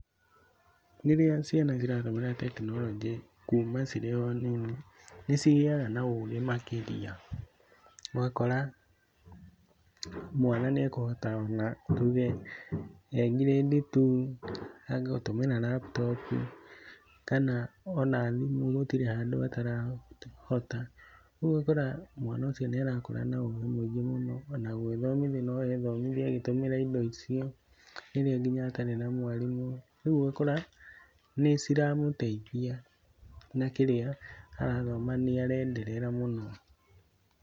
Rĩrĩa ciana ciratumĩra tekinoronjĩ kuuma cirĩ o nini, nĩ cigĩaga na ũgĩ makĩria. Ũgakora mwana nĩ ekũhota ona nĩ tuge e ngirĩndi two nĩ ekuhota gũtũmĩra laptop, kana ona thimũ gũtirĩ handũ atarahota. Ũguo ũgakora mwana ũcio nĩ arakũra na ũgĩ mũingĩ mũno, ona gwĩthomithia no ethomithie agĩtũmĩra indo icio rĩrĩa nginya atarĩ na mwarimũ. Ũguo ũgakora nĩ ciramũteithia na kĩrĩa arathoma nĩ arenderera mũno.